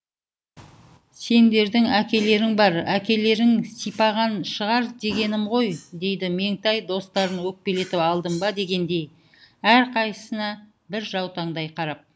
сендердің әкелерің бар әкелерің сипаған шығар дегенім ғой дейді меңтай достарын өкпелетіп алдым ба дегендей әрқайсысына бір жаутаңдай қарап